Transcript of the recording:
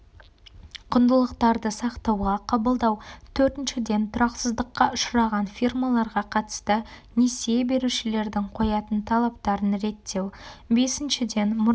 құндылықтарды сақтауға қабылдау төртіншіден тұрақсыздыққа ұшыраған фирмаларға қатысты несие берушілердің қоятын талаптарын реттеу бесіншіден мұраға